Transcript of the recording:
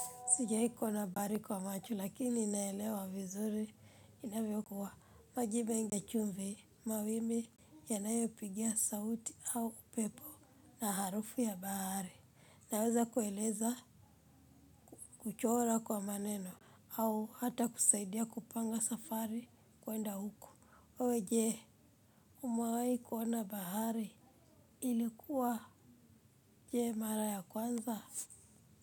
Sijai kuona bahari kwa macho lakini naelewa vizuri inavyokuwa maji mengi yachumvi mawimbi yanayopigia sauti au upepo na harufu ya bahari. Naweza kueleza kuchora kwa maneno au hata kusaidia kupanga safari kuenda huku. Wewe jee umewahi kuona bahari ilikuwa jee mara ya kwanza.